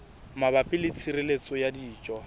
mabapi le tshireletso ya dijo